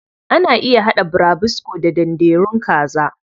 Ana iya haɗa burabusko da danderun kaza.